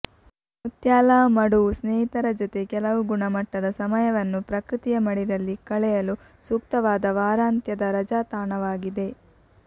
ಮುತ್ಯಾಲ ಮಡುವು ಸ್ನೇಹಿತರ ಜೊತೆ ಕೆಲವು ಗುಣಮಟ್ಟದ ಸಮಯವನ್ನು ಪ್ರಕೃತಿಯ ಮಡಿಲಲ್ಲಿ ಕಳೆಯಲು ಸೂಕ್ತವಾದ ವಾರಾಂತ್ಯದ ರಜಾ ತಾಣವಾಗಿದೆ